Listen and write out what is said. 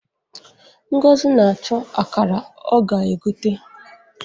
Ngozi na-achọ akara ọ ga-egote.